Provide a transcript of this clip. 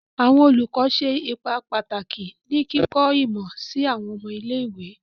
Awọn olùkọ ṣe ipa pataki ni kikọ imọ si awọn ọmọ ile-iwe